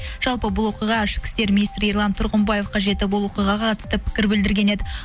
жалпы бұл оқиға ішкі істер министрі ерлан тұрғымбаевқа жетіп ол оқиғаға қатысты пікір білдірген еді